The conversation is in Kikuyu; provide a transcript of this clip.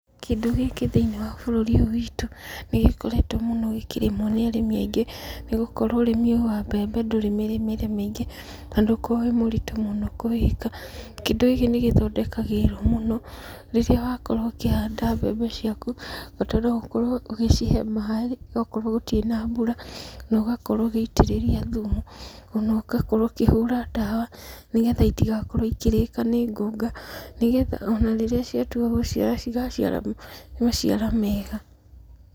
Kĩndũ gĩkĩ thĩiniĩ wa bũrũri ũyũ witũ nĩ gĩkoretwo mũno gĩkĩrĩmwo mũno nĩ arĩmĩ aingĩ, nĩ gũkorwo ũrĩmi ũyũ wa mbembe ndũrĩ mĩrĩmĩre mĩingĩ, na ndũkoo wĩ mũrĩtũ mũno kũwĩka. Kĩndũ gĩkĩ nĩ gĩthondekagĩrĩrwo mũno, rĩrĩa wakorwo ũkĩhanda mbembe ciaku, ũbataire gũkorwo ũgĩcihe maaĩ gwakorwo gũtirĩ na mbura, na ũgakorwo ũgĩitĩrĩria thumu. Ona ũgakorwo ũkĩhũra ndawa nĩgetha itigakorwo ikĩrĩka nĩ ngũnga, nĩgetha ona rĩrĩa ciatua gũciara cigaciara maciara mega.